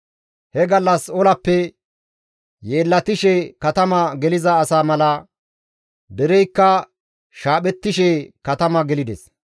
He gallas olappe yeellatishe katama geliza asa mala dereykka shaaphettishe katama gelides.